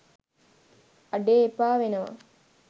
අඩේ එපා වෙනවා